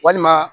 Walima